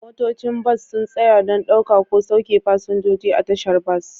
Motocin bas sun tsaya don ɗauka ko sauke fasinjoji a tashar bas